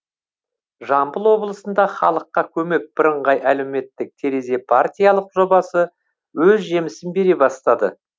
жамбыл облысында халыққа көмек бірыңғай әлеуметтік терезе партиялық жобасы өз жемісін бере бастады